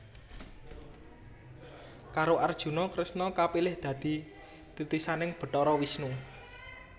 Karo Arjuna Kresna kapilih dadi titisaning Bathara Wisnu